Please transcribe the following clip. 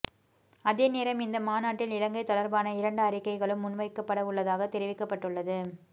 அதேநேரம் இந்த மாநாட்டில் இலங்கை தொடர்பான இரண்டு அறிக்கைகளும் முன்வைக்கப்பட உள்ளதாக தெரிவிக்கப்பட்டுள்ளது